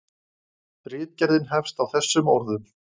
Ritgerðin hefst á þessum orðum: